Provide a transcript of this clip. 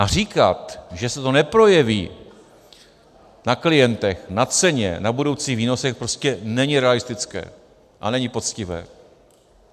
A říkat, že se to neprojeví na klientech, na ceně, na budoucích výnosech, prostě není realistické a není poctivé.